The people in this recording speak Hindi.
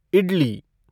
इडली